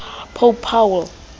pope paul